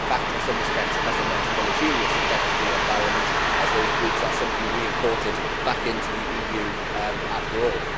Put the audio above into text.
In fact, in some respects, it has a net deleterious effect on the environment as those goods are simply re imported back into the EU, after all.